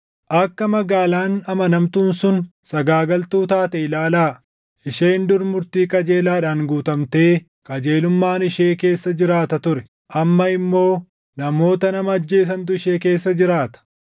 Akka magaalaan amanamtuun sun sagaagaltuu taate ilaalaa! Isheen dur murtii qajeelaadhaan guutamtee qajeelummaan ishee keessa jiraata ture; amma immoo namoota nama ajjeesantu ishee keessa jiraata!